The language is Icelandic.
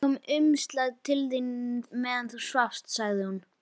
Það kom umslag til þín meðan þú svafst, sagði hún.